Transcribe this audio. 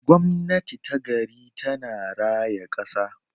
Gwamnati ta gari tana raya kasa.